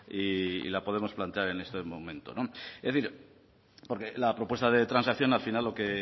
y la podemos plantear en este momento es decir la propuesta de transacción al final lo que